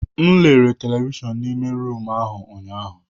M lere televishọn n'ime rumụ ahụ ụnyaahụ.